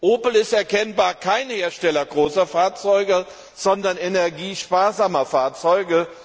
Opel ist erkennbar kein Hersteller großer Fahrzeuge, sondern energiesparsamer Fahrzeuge.